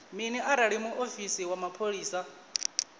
mini arali muofisi wa mapholisa